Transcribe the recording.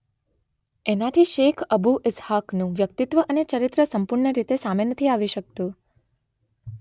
એનાથી શેખ અબૂ ઇસ્હાકનું વ્યકિતત્વ અને ચરિત્ર સંપૂર્ણ રીતે સામે નથી આવી શકતું.